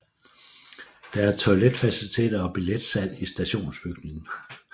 Der er toiletfaciliteter og billetsalg i stationsbygningen